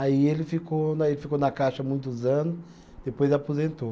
Aí ele ficou na, ele ficou na caixa muitos anos, depois aposentou.